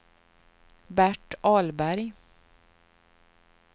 Bert Ahlberg